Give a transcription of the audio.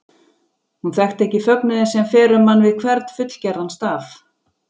Hún þekkti ekki fögnuðinn sem fer um mann við hvern fullgerðan staf.